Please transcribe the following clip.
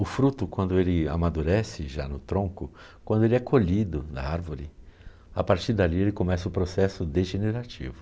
O fruto, quando ele amadurece já no tronco, quando ele é colhido na árvore, a partir dali ele começa o processo degenerativo.